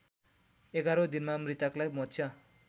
एघारौँ दिनमा मृतकलाई मोक्ष